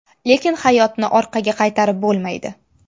Lekin hayotni orqaga qaytarib bo‘lmaydi.